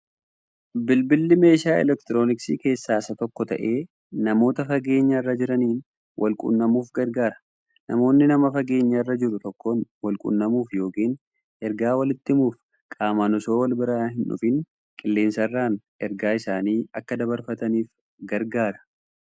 Bilbilli meeshaa elektirooniksii keessaa isa tokko ta'ee, namoota fageenya irra jiraaniin walqunnamuuf gargaara. Namoonni nama fageenya irra jiruu tokkoon walqunnamuuf yookiin ergaa waliiti himuuf qaamaan osoo walbira hin dhufin qilleensarraan ergaa isaanii akka dabarfataniif gargaara